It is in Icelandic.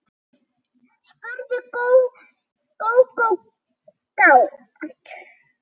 spurði Gógó kát.